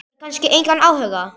Hefur kannski engan áhuga.